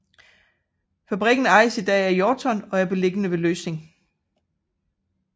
Fabrikken ejes i dag af Jorton og er beliggende ved Løsning